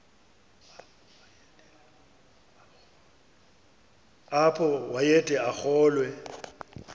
apho wayede arolwe